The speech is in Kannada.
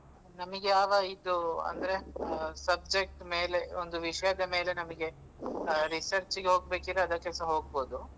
ನಮ್ಗೆ ಯಾವ ಇದು, ಅಂದ್ರೆ subject ಮೇಲೆ ಒಂದು ವಿಷಯದ ಮೇಲೆ ನಮ್ಗೆ ಆ research ಗೆ ಹೋಗ್ಬೇಕಿದ್ರೆ ಅದಕ್ಕೆಸ ಹೋಗ್ಬಹುದು.